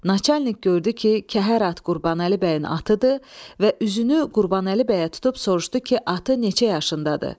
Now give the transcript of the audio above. Naçalnik gördü ki, kəhər at Qurbanəli bəyin atıdır və üzünü Qurbanəli bəyə tutub soruşdu ki, atı neçə yaşındadır?